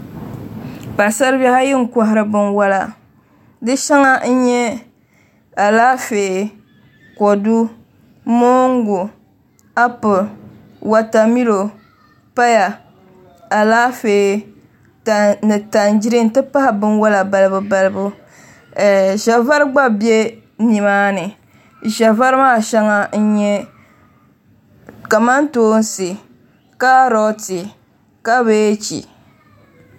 Paɣasari bihi ayi n kohari binwola di shɛŋa n nyɛ Alaafee kodu moongu appl wotamilo paya Alaafee ni tangirɛ n ti pahi binwola balibu balibu ʒɛ vari gba bɛ nimaani ʒɛ vari maa shɛŋa n nyɛ kamantoosi gabɛji kaarot